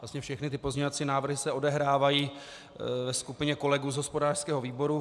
Vlastně všechny ty pozměňovací návrhy se odehrávají ve skupině kolegů z hospodářského výboru.